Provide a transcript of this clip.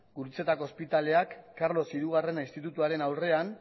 gurutzetako ospitaleak carlos hirugarren institutuaren aurrean